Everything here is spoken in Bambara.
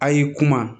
A y'i kuma